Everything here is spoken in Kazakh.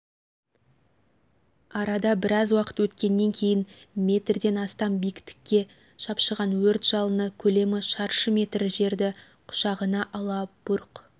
арада біраз уақыт өткеннен кейін метрден астам биіктікке шапшыған өрт жалыны көлемі шаршы метр жерді құшағына ала бұрқ